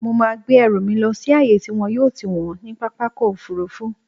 Mo máa gbé ẹrù mi lọ sí ààyè tí wọn yóò ti wọ̀n ọ́n ní pápákọ̀-òfurufú.